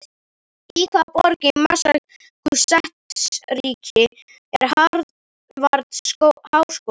Í hvaða borg í Massachusettsríki er Harvard-háskóli?